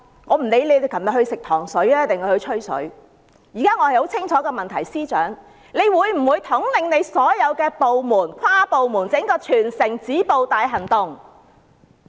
我不理他們昨晚是"吃糖水"還是"吹水"，我的質詢很清楚，司長他會否統領所有部門推出全城止暴大行動？